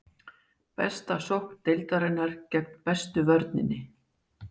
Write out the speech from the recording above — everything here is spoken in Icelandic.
Besta sókn deildarinnar gegn bestu vörninni.